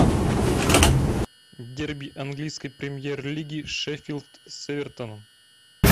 дерби английской премьер лиги шеффилд с эвертоном